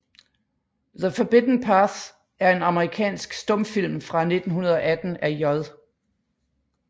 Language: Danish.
The Forbidden Path er en amerikansk stumfilm fra 1918 af J